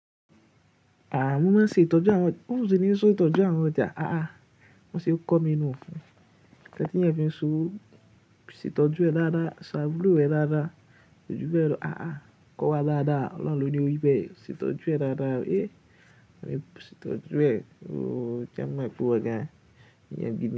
À, mo máa ṣe ìtọ́jú àwọn, mi ó sì ní se ìtọ́jú àwọn ọjà à a. Bó ń ṣe kọ́ mi nú. Nkan tí èèyàn fi ń ṣòwò, ṣe tọ jú ẹ dáadáa, sa àbúrò rẹ dáadáa, kò ju bẹ lọ ah ah, kó wà dáadáa ọlọ́hun ló ní ó rí bẹ, ṣe tọ jú ẹ dáadáa eh, ṣe tọ jú ẹ, sì jẹ́ ọn mọ̀ pé ìwọ gan eyan gidi.